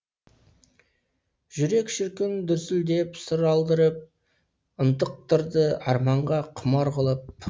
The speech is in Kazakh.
жүрек шіркін дүрсілдеп сыр алдырып ынтықтырды арманға құмар қылып